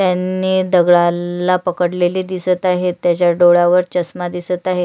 त्यांनी दगडाला पकडलेले दिसत आहे. त्याच्या डोळ्यावर चश्मा दिसत आहे.